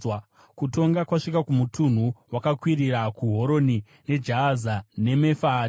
Kutonga kwasvika kumutunhu wakakwirira, kuHoroni, Jahaza neMefaati,